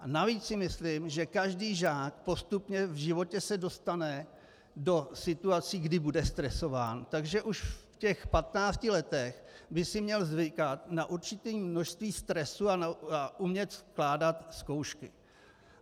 A navíc si myslím, že každý žák postupně v životě se dostane do situací, kdy bude stresován, takže už v těch 15 letech by si měl zvykat na určité množství stresu a umět skládat zkoušky.